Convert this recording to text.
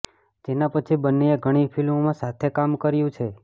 જેના પછી બંનેએ ઘણી ફિલ્મોમાં સાથે કામ કર્યું છે